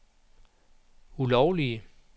ulovlige